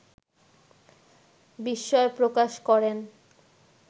বিস্ময় প্রকাশ করেন